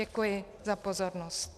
Děkuji za pozornost.